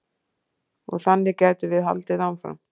Og þannig gætum við haldið áfram.